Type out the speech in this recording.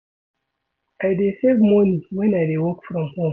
I dey save moni wen I dey work from home.